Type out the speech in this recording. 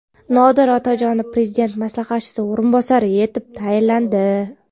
Nodir Otajonov Prezident maslahatchisi o‘rinbosari etib tayinlandi.